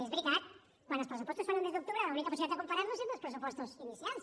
és veritat quan els pressupostos es fan el mes d’octubre l’única possibilitat de comparar los és amb els pressupostos inicials